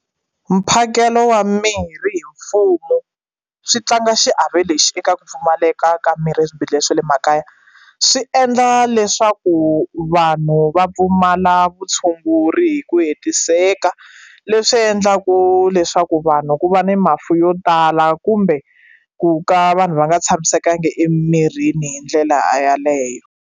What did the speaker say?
Mphakelo wa mirhi hi mfumo swi tlanga xiave lexi eka ku pfumaleka ka mirhi eswibedhlele swa le makaya swi endla leswaku vanhu va pfumala vutshunguri hi ku hetiseka leswi endlaku leswaku vanhu ku va ni mafu yo tala kumbe ku ka vanhu va nga tshamisekanga emirini hi ndlela yeleyo.